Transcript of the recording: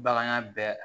Bagan ya bɛɛ